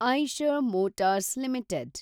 Eicher Motors limited